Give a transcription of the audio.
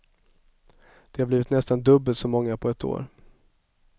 De har blivit nästan dubbelt så många på ett år.